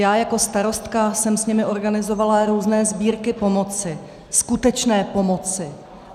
Já jako starostka jsem s nimi organizovala různé sbírky pomoci, skutečné pomoci.